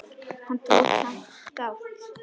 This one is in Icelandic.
Hann tók samt þátt.